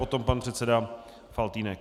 Potom pan předseda Faltýnek.